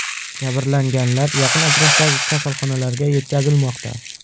Jabrlanganlar yaqin atrofdagi kasalxonalarga yetkazilmoqda.